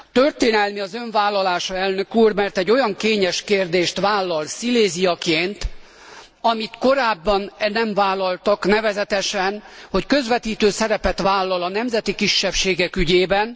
Történelmi az Ön vállalása Elnök úr, mert egy olyan kényes kérdést vállal Sziléziaként, amit korábban nem vállaltak, nevezetesen, hogy közvetítő szerepet vállal a nemzeti kisebbségek ügyében.